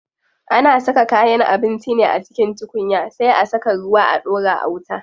Ana saka kayan abinci ne a cikin tukunya sai a saka ruwa a ɗora a wuta.